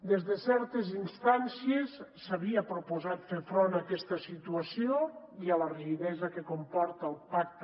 des de certes instàncies s’havia proposat fer front a aquesta situació i a la rigidesa que comporta el pacta